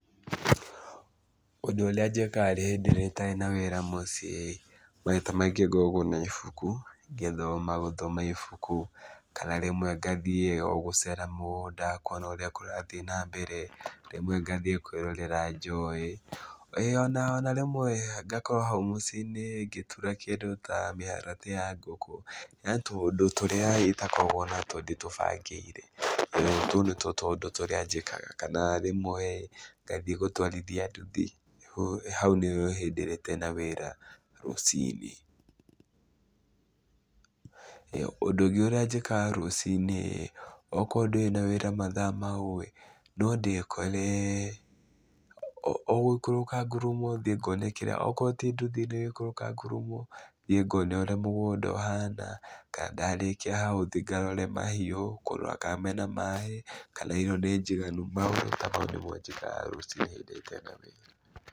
Ũndũ ũrĩa njĩkaga hĩndĩ ĩrĩa itarĩ na wĩra mũciĩ-ĩ, maita maingĩ ngoragwo na ibuku, ngĩthoma gũthoma ibuku, kana rĩmwe ngathiĩ o gũcera mũgũnda kuona ũrĩa kũrathiĩ na mbere, rĩmwe ngathiĩ kwĩrorera njũĩ, ĩĩ ona ona rĩmwe ngakorwo hau mũciĩ-inĩ ngĩtura kĩndũ ta mĩharatĩ ya ngũkũ. He tũũndũ tũrĩa itakoragwo natuo ndĩtũbangĩire, tũu nĩtuo tũũndũ tũrĩa njĩkaga, kana rĩmwe-ĩ ngathiĩ gũtwarithia nduthi, hau nĩ hĩndĩ ĩrĩa itarĩ na wĩra rũcinĩ. Ũndũ ũngĩ ũrĩa njĩkaga rũcinĩ-ĩ, okorwo ndũrĩ na wĩra mathaa mau-ĩ, no ndĩkore o gũikũrũka ngurumo thiĩ ngone kĩrĩa okorwo ti nduthi nĩ gũikũrũka ngurumo thiĩ ngone ũrĩa mũgũnda ũhana kana ndarĩkia hau thiĩ ngarore mahiũ, kũrora kana mena maĩ, kana irio nĩ njiganu maũndũ ta mau nĩmo njĩkaga rũcinĩ hĩndĩ ĩrĩa itarĩ na wĩra.